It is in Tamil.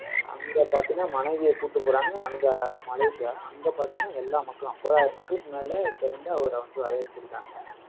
அங்க பார்த்தீங்கன்னா, மனைவியை கூட்டிட்டு போறாங்க. அங்க மலேசியா, அங்க பார்த்தீங்கன்னா எல்லா மக்களும், ஐம்பதாயிரம் மக்களுக்கு மேல திரண்டு அவரை வந்து வரவேற்றிருக்காங்க